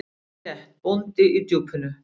Alveg rétt: Bóndi í Djúpinu.